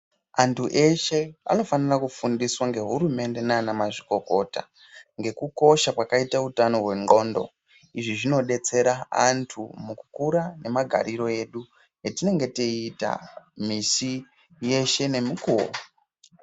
Antu eshe anofanira kufundiswa nge hurumende nana mazvikokota ngeku kosha kwakaita utano hwe ndxondo izvi zvino detsera antu muku kura ne magariro edu etinenge teyi ita misi yeshe ne mukuwo.